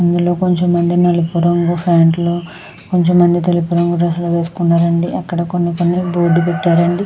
అందులో కంచెం మంది నలుపు రంగు ప్యాంట్లు కంచెం మంది తెలుపు రంగు డ్రెస్సు లు వేసుకున్నారు అండి. అక్కడ కొన్ని కెన్నీ బోర్డు లు పెట్టారు అండి.